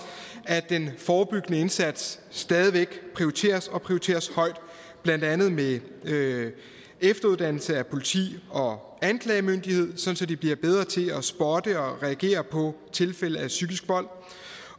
at den forebyggende indsats stadig væk prioriteres og prioriteres højt blandt andet med efteruddannelse af politiet og anklagemyndigheden sådan at de bliver bedre til at spotte og reagere på tilfælde af psykisk vold